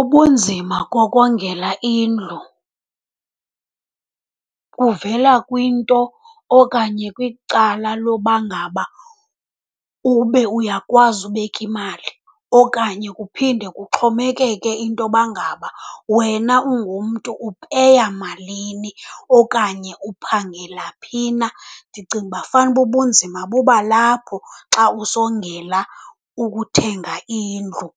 Ubunzima kokongela indlu kuvela kwinto okanye kwicala loba ngaba ube uyakwazi ubeka imali, okanye kuphinde kuxhomekeke intoba ngaba wena ungumntu upeya malini okanye uphangela phi na. Ndicinga uba fanuba ubunzima buba lapho xa usongela ukuthenga indlu.